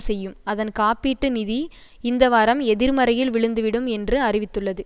செய்யும் அதன் காப்பீட்டு நிதி இந்த வாரம் எதிர்மறையில் விழுந்துவிடும் என்று அறிவித்துள்ளது